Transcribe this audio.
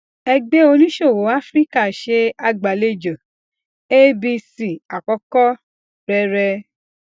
ẹgbẹ oníṣòwò áfíríkà se agbalejo abc àkọkọ rẹ rẹ